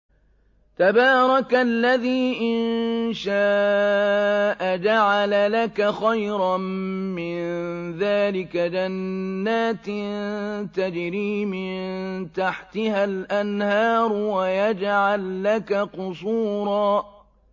تَبَارَكَ الَّذِي إِن شَاءَ جَعَلَ لَكَ خَيْرًا مِّن ذَٰلِكَ جَنَّاتٍ تَجْرِي مِن تَحْتِهَا الْأَنْهَارُ وَيَجْعَل لَّكَ قُصُورًا